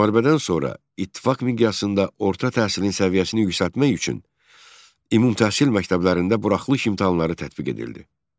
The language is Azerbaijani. Müharibədən sonra İttifaq miqyasında orta təhsilin səviyyəsini yüksəltmək üçün ümumtəhsil məktəblərində buraxılış imtahanları tətbiq edildi.